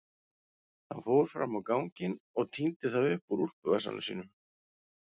Hann fór fram á ganginn og tíndi það upp úr úlpuvasanum sínum.